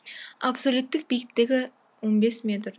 абсолюттік биіктігі он бес метр